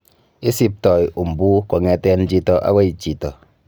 Isipto umbu kong'eten chito akoi chito.